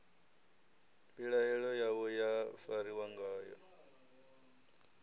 mbilaelo yavho ya fariwa ngayo